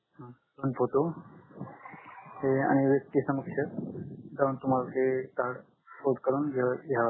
दोन फोटो तुम्हाला ते कार्ड पोर्ट करून घ्याव लागेल